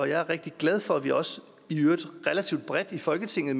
jeg er rigtig glad for at vi også i øvrigt relativt bredt i folketinget